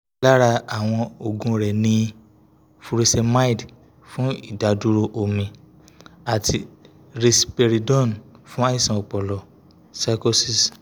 lara awọn oogun rẹ ni furosemide fun idaduro omi ati risperidone fun aisan ọpọlọ psychosis